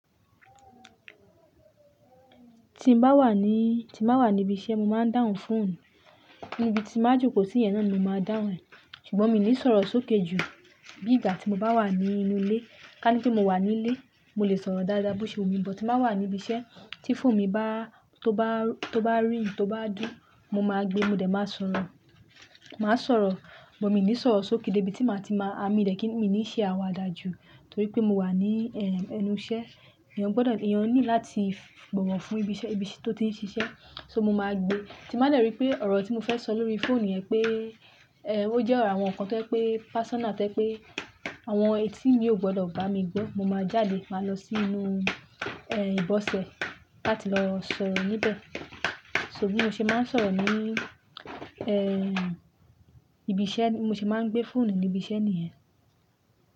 Ti n bá wà ní, ti n bá wà ní ibi iṣẹ́, mo máa ń dáhùn fóònù. Níbi tí má jo kò sí yẹn náà ni mo máa dáhùn e, ṣùgbọ́n mi ò ní sọ̀rọ̀ sókè jù. Bí ìgbà tí mo bá wà ní inú ilé, ká ní pé mo wà nílé, mo lè sọ̀rọ̀ dáadáa bó ṣe wù mí, ṣùgbọ́n tí mo bá wà ní ibi iṣẹ́ tí fóònù mi bá, tó bá, tó bá rìng, tó bá dú, mo máa gbe, mo dẹ̀ máa sọ̀rọ̀. Màá sọ̀rọ̀, ṣùgbọ́n mi ò ní sọ̀rọ̀ sókè dé ibi tí màá ti máa, à mí dẹ̀ kíì ní ṣe àwàdà jù torí pé mo wà ní ẹ́, ẹnu iṣẹ́. Èèyàn gbọ́dọ̀, èèyàn ní láti bọ̀wọ̀ fún ibi iṣẹ́, ibi tí ó ti ń ṣiṣẹ́. So mo máa gbe. Tí màá dẹ̀ rí pé ọ̀rọ̀ tí mo fẹ́ sọ lórí fóònù yẹn pé, ẹ́, ó jẹ́ ọ̀rọ̀ àwọn nnkan tó jẹ́ pé personal to je pé àwọn etí mi kóò gbọ́dọ̀ bá mi gbọ́, mo máa jáde máa lọ sínú ẹ́, ìbọ̀sẹ̀ láti lọ sọ̀rọ̀ níbẹ̀. So bí mo ṣe máa ń sọ̀rọ̀ ní ẹ́, ibi iṣẹ́, mo sì máa ń gbé fóònù ní ibi iṣẹ́ nìyẹn.